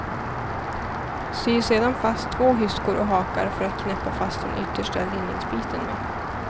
Sy sedan fast två hyskor och hakar för att knäppa fast den yttersta linningsbiten med.